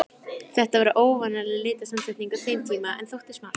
Þetta var óvanaleg litasamsetning á þeim tíma, en þótti smart.